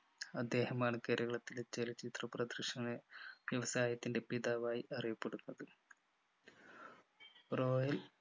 അദ്ദേഹമാണ് കേരളത്തിലെ ചലച്ചിത്ര പ്രദർശന വ്യവസായത്തിൻ്റെ പിതാവായി അറിയപ്പെടുന്നത് royal